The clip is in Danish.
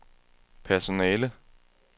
personale